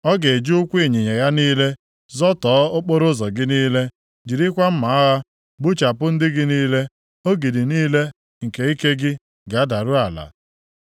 Ọ ga-eji ụkwụ ịnyịnya ya niile zọtọọ okporoụzọ gị niile, jirikwa mma agha gbuchapụ ndị gị niile. Ogidi niile nke ike gị ga-adaru ala.